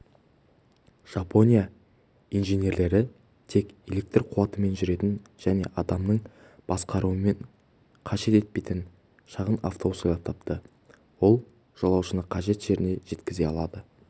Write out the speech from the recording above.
жапония инженерлері тек электр қуатымен жүретін және адамның басқаруын қажет етпейтін шағын автобус ойлап тапты ол жолаушыны қажет жеріне жеткізе алады